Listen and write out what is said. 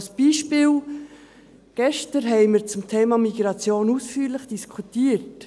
Als Beispiel: Gestern haben wir ausführlich über dasm Thema Migration diskutiert.